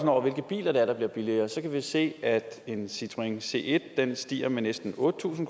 over hvilke biler det er der bliver billigere så kan vi se at en citroën c1 stiger med næsten otte tusind